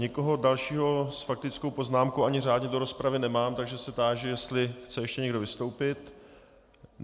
Nikoho dalšího s faktickou poznámkou ani řádně do rozpravy nemám, takže se táži, jestli chce ještě někdo vystoupit.